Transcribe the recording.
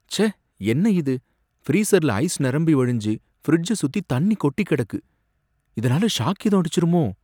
ச்சே! என்ன இது? ஃப்ரீஸர்ல ஐஸ் நிரம்பி வழிஞ்சு ஃபிரிட்ஜ சுத்தி தண்ணி கெட்டி கிடக்கு, இதனால ஷாக் ஏதும் அடிச்சிருமோ!